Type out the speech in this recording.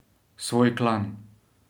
Svoj klan.